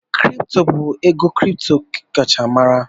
Bitikoin bụ ego kripto a kacha mara.